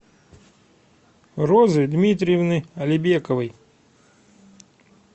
розы дмитриевны алибековой